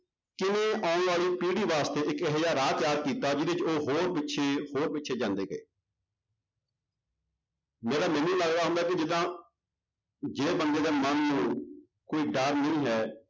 ਕਿਵੇਂ ਆਉਣ ਵਾਲੀ ਪੀੜ੍ਹੀ ਵਾਸਤੇ ਇੱਕ ਇਹੋ ਜਿਹਾ ਰਾਹ ਤਿਆਰ ਕੀਤਾ, ਜਿਹਦੇ ਵਿੱਚ ਉਹ ਹੋਰ ਪਿੱਛੇ ਹੋਰ ਪਿੱਛੇ ਜਾਂਦੇ ਗਏ ਜਿਹੜਾ ਮੈਨੂੰ ਲੱਗਦਾ ਹੁੰਦਾ ਵੀ ਜਿੱਦਾਂ ਜੇ ਬੰਦੇ ਦੇ ਮਨ ਨੂੰ ਕੋਈ ਡਰ ਨਹੀਂ ਹੈ